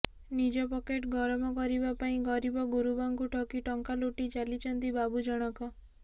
ନିଜ ପକେଟ ଗରମ କରିବା ପାଇଁ ଗରିବ ଗୁରୁବାଙ୍କୁ ଠକି ଟଙ୍କା ଲୁଟି ଚାଲିଛନ୍ତି ବାବୁ ଜଣଙ୍କ